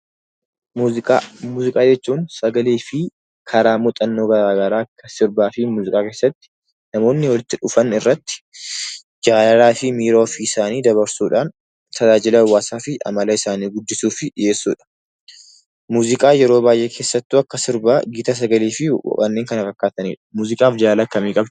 Muuziqaa. Muuziqaa jechuun sagalee fi karaa muuxannoo garaa garaa kan sirba fi muuziqaa keessatti namoonni walitti dhufan irratti jaalalaa fi miira ofii isaanii dabarsuudhaan tajaajila hawwaasaa guddisuuf dhiyeessuudha. Muuziqaan yeroo baay'ee keessattuu kan sirbaa gita sagalee fi kan kana fakkaatanii dha. Muuziqaan jaalala akkamii qaba?